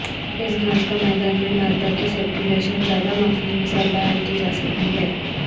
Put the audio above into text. ایک گھاس کا میدان میں مادہ کی سرکولیشن زیادہ مخصوص مثال بیان کی جاسکتی ہے